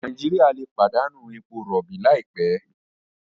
Nàìjíríà lè pàdánù èpò robi laipẹ